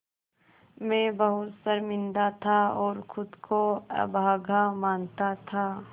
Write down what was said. मैं बहुत शर्मिंदा था और ख़ुद को अभागा मानता था